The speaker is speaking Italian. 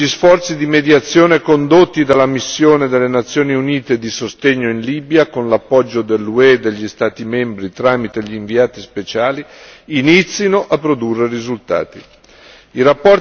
Confidiamo che gli sforzi di mediazione condotti dalla missione delle Nazioni Unite di sostegno in Libia, con l'appoggio dell'UE e degli Stati membri tramite gli inviati speciali, inizino a produrre risultati.